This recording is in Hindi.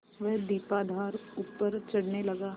वह दीपाधार ऊपर चढ़ने लगा